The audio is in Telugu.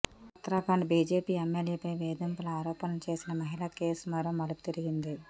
ఉత్తరాఖండ్ బీజేపీ ఎమ్మెల్యేపై వేధింపుల ఆరోపణలు చేసిన మహిళ కేసు మరో మలుపు తిరిగింది